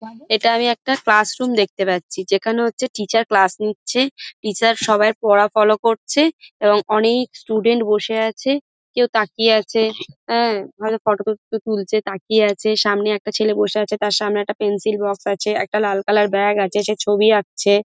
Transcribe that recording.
এটা আমি একটা ক্লাস রুম দেখতে পাচ্ছি ।যেখানে হচ্ছে টিচার ক্লাস নিচ্ছে টিচার সবাই এর পড়া ফলো করছে এবং অনেক স্টুডেন্ট বসে আছে। কেউ তাকিয়ে আছে অ্যা ভালো ফটো টতো তুলছে তাকিয়ে আছে সামনে একটা ছেলে বসে আছে তার সামনে পেন্সিল বক্স আছে একটা লাল কালার ব্যাগ আছে সে ছবি আঁকছে।